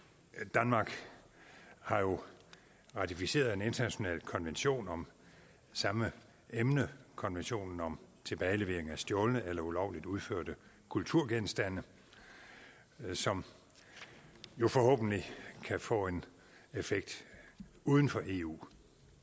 danmark har jo ratificeret en international konvention om samme emne konventionen om tilbagelevering af stjålne eller ulovligt udførte kulturgenstande som jo forhåbentlig kan få en effekt uden for eu